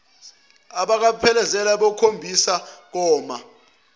abaphelekezele ayobakhonibisa koma